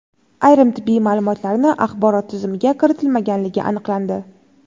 ayrim tibbiy ma’lumotlarni axborot tizimiga kiritilmaganligi aniqlandi.